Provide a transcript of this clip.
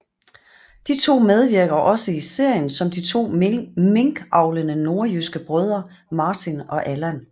De to medvirker også i serien som de to minkavlende nordjyske brødre Martin og Allan